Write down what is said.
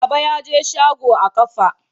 Baba ya je shago a ƙafa.